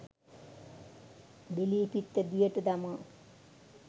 බිලී පිත්ත දියට දමා